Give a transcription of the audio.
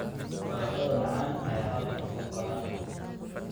Baradhada macaan ayaa halkan ku koraan.